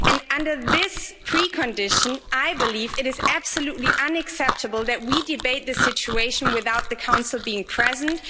Under this precondition, I believe it is absolutely unacceptable that we debate this situation without the Council being present.